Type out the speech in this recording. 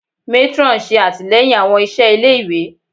Matron ṣe atilẹyin awọn iṣẹ ile-iwe